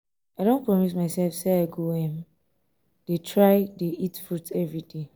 um i don promise myself say i go um dey try dey eat fruit everyday um